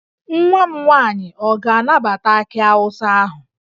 Nwa m nwaanyị ọ ga-anabata akị awụsa ahụ?